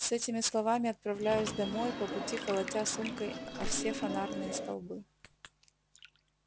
с этими словами отправляюсь домой по пути колотя сумкой о все фонарные столбы